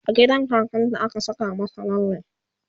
a gidan kakan ta a ka Saka mata lalle